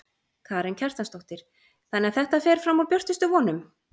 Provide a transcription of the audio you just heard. Karen Kjartansdóttir: Þannig að þetta fer fram úr björtustu vonum?